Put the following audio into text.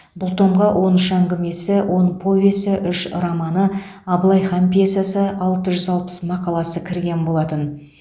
бұл томға он үш әңгімесі он повесі үш романы абылайхан пьесасы алты жүз алпыс мақаласы кірген болатын